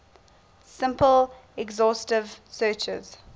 simple exhaustive searches